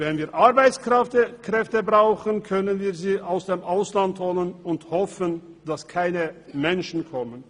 Wenn wir Arbeitskräfte brauchen, können wir sie aus dem Ausland holen und hoffen, dass keine Menschen kommen.